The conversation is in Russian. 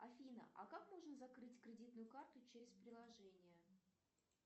афина а как можно закрыть кредитную карту через приложение